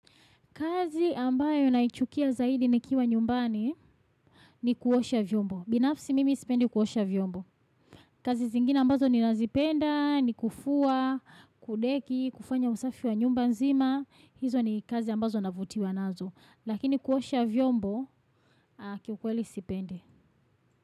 Kazi ambayo naichukia zaidi nikiwa nyumbani ni kuosha vyombo. Binafsi mimi sipendi kuosha vyombo. Kazi zingine ambazo ninazipenda, ni kufua, kudeki, kufanya usafi wa nyumba nzima. Hizo ni kazi ambazo navutiwa nazo. Lakini kuosha vyombo, kiukweli sipendi.